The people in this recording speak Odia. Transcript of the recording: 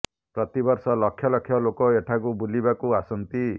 ପ୍ରତି ବର୍ଷ ଲକ୍ଷ ଲକ୍ଷ ଲୋକ ଏଠାକୁ ବୁଲିବାକୁ ଆସନ୍ତି